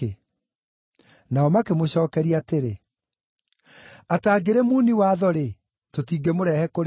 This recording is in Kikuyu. Nao makĩmũcookeria atĩrĩ, “Atangĩrĩ muuni watho-rĩ, tũtingĩmũrehe kũrĩ we.”